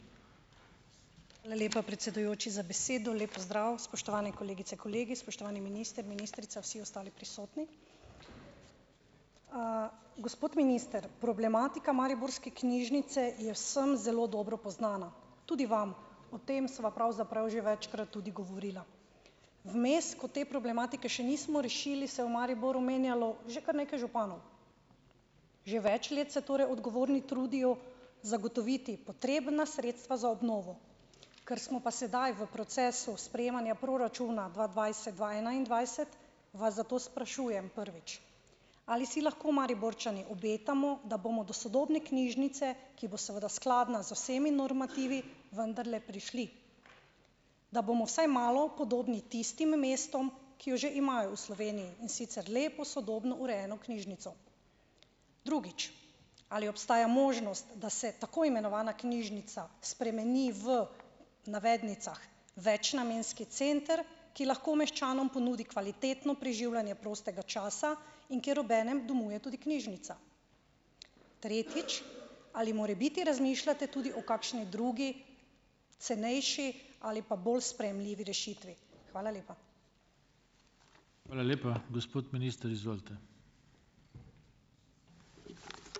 Hvala lepa, predsedujoči, za besedo. Lep pozdrav , spoštovane kolegice, kolegi, spoštovani minister, ministrica, vsi ostali prisotni. gospod minister. Problematika mariborske knjižnice je vsem zelo dobro poznana. Tudi vam. O tem sem vam pravzaprav že večkrat tudi govorila. Vmes, ko te problematike še nismo rešili, se v Mariboru menjalo že kar nekaj županov. Že več let se torej odgovorni trudijo zagotoviti potrebna sredstva za obnovo. Kar smo pa sedaj v procesu sprejemanja proračuna dva dvajset-dva enaindvajset, vas zato sprašujem, prvič. Ali si lahko Mariborčani obetamo, da bomo do sodobne knjižnice, ki bo seveda skladna z vsemi normativi , vendarle prišli? Da bomo vsaj malo podobni tistim mestom, ki jo že imajo v Sloveniji, in sicer lepo, sodobno, urejeno knjižnico. Drugič. Ali obstaja možnost, da se tako imenovana knjižnica spremeni, v navednicah, večnamenski center, ki lahko meščanom ponudi kvalitetno preživljanje prostega časa in kjer ob enem domuje tudi knjižnica. Tretjič . Ali morebiti razmišljate tudi o kakšni drugi, cenejši ali pa bolj sprejemljivi rešitvi? Hvala lepa. Hvala lepa. Gospod minister, izvolite.